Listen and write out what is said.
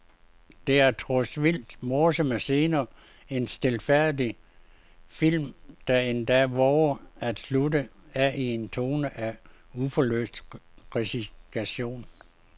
Der er trods vildt morsomme scener en stilfærdig film, der endda vover at slutte af i en tone af uforløst resignation.